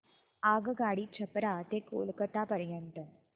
आगगाडी छपरा ते कोलकता पर्यंत